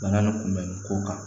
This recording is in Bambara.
Bana nin kunbɛli ko kan